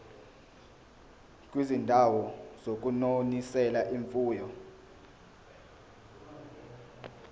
kwizindawo zokunonisela imfuyo